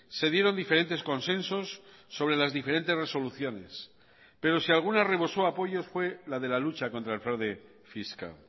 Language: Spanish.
se dieron diferentes consensos sobre las diferentes resoluciones pero si alguna rebosó apoyos fue la de la lucha contra el fraude fiscal